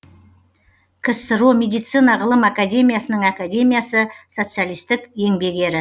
ксро медицина ғылым академиясының академиясы социалистік еңбек ері